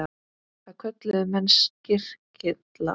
Það kölluðu menn skyrkylla.